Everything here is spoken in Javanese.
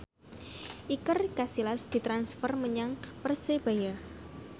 Iker Casillas ditransfer menyang Persebaya